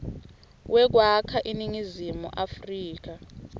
wekwakha iningizimu afrika